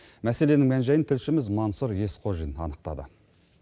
мәселенің мән жайын тілшіміз мансұр есқожин анықтады